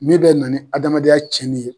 Min bɛ na ni adamadenya tiɲɛnini ye.